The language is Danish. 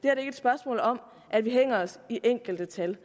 er et spørgsmål om at vi hænger os i enkelte tal